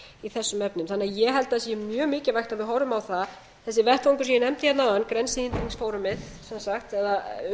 í þessum efnum ég held að sé mjög mikilvægt að við horfum á það þessi vettvangur sem ég nefndi hérna áðan grensehindringsforum eða